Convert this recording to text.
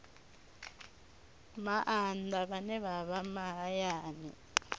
maanḓa vhane vha vha mahayani